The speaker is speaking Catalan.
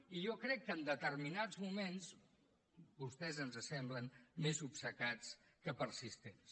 i jo crec que en determinats moments vostès ens semblen més obcecats que persistents